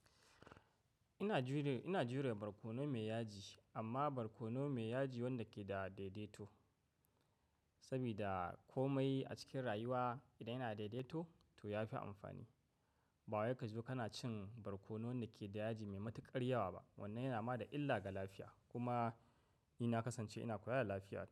Ina jure, ina jure barkono mai yaji amma barkono mai yaji wanda ke da daidaito. Saboda komai a cikin rayuwa idan yana daidaito to ya fi amfani. Ba wai ka ji kana cin barkono da ke da yaji mai matuƙar yawa ba. Wannan yana ma da illa ga lafiya. Kuma ni na kasance ina kula da lafiya.